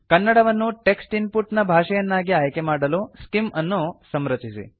ಕನ್ನಡವನ್ನು text input ನ ಭಾಷೆಯನ್ನಾಗಿ ಆಯ್ಕೆಮಾಡಲು ಸ್ಕಿಮ್ ಅನ್ನು ಸಂರಚಿಸಿ